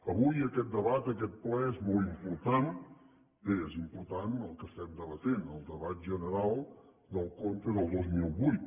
avui aquest debat aquest ple és molt important bé és important el que estem debatent el debat general del compte del dos mil vuit